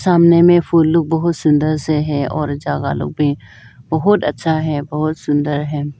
सामने में फूल लोग बहुत सुंदर से है और जगह लोग भी बहुत अच्छा है बहुत सुंदर है।